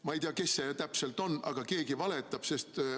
Ma ei tea, kes see täpselt on, aga keegi valetab.